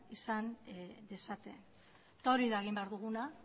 izan dezaten eta hori da egin behar duguna